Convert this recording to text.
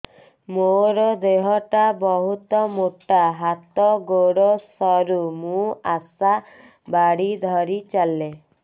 ମୋର ଦେହ ଟା ବହୁତ ମୋଟା ହାତ ଗୋଡ଼ ସରୁ ମୁ ଆଶା ବାଡ଼ି ଧରି ଚାଲେ